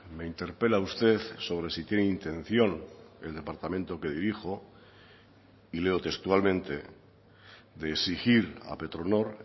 me interpela usted sobre si tiene intención el departamento que dirijo y leo textualmente de exigir a petronor